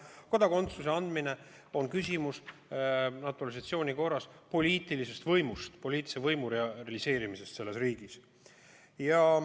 Kodakondsuse andmine on küsimus naturalisatsiooni korras poliitilise võimu realiseerimisest selles riigis.